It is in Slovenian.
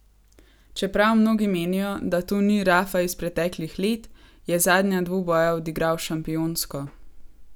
Čeprav mnogi menijo, da to ni Rafa iz preteklih let, je zadnja dvoboja odigral šampionsko.